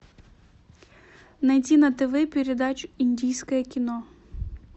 найди на тв передачу индийское кино